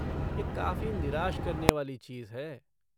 यह काफ़ी निराश करने वाली चीज़ है!